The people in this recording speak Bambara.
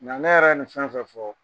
Nga ne yɛrɛ ye nin fɛn o fɛn